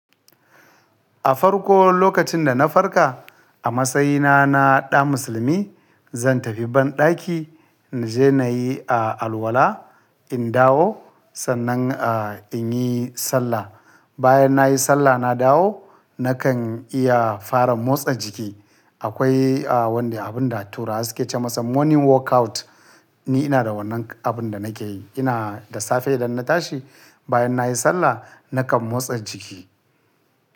A farko lokacin da na farka a matsayina na ɗa musulmi, zan tafi banɗaki na je na yi alwala, in dawo sannan in yi sallah. Bayan nayi sallah na dawo nakan iya fara motsa jiki. Akwai wanda abun da turawa suke ce masa morning workout ni ina da wannan abun da nake yi. Ina da safe idan na tashi bayan nayi sallah nakan motsa jiki.